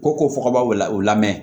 Ko ko ka b'aw la u la mɛn